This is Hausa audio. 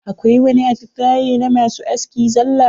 Akwai wani atisaye na masu aski zalla.